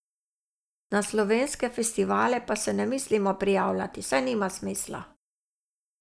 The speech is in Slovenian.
Na slovenske festivale pa se ne mislimo prijavljati, saj nima smisla.